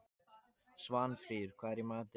Svanfríður, hvað er í matinn?